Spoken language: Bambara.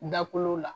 Dakolow la